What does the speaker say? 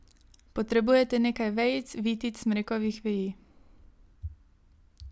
Potrebujete nekaj vejic, vitic, smrekovih veji ...